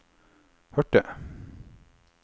hørte